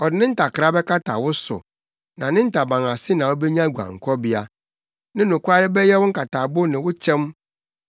Ɔde ne ntakra bɛkata wo so; na ne ntaban ase na wubenya guankɔbea; ne nokware bɛyɛ wo nkatabo ne wo kyɛm.